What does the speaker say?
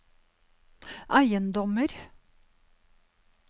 eiendommer